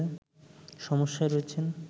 সমস্যায় রয়েছেন